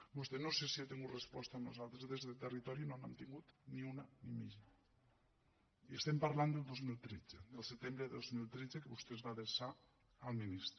vostè no sé si ha tingut resposta nosaltres des del territori no n’hem tingut ni una ni mitja i estem parlant del dos mil tretze del setembre del dos mil tretze que vostè es va adreçar al ministre